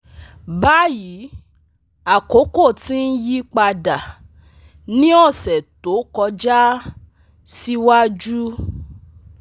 Bayi akoko ti n yipada ni ọsẹ to kọja siwaju